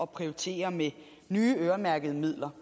prioritere med nye øremærkede midler